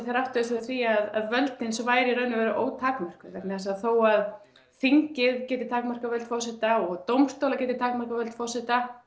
þeir áttuðu sig á því að völdin væru í raun og veru ótakmörkuð vegna þess að þó að þingið geti takmarkað völd forseta og dómstólar gætu takmarkað völd forseta